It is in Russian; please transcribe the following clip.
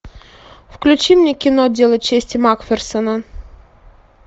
включи мне кино дело чести макферсона